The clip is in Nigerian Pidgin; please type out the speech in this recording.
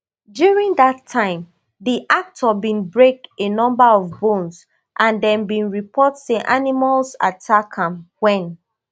during dat time di actor bin break a number of bones and dem bin report say animals attack am wen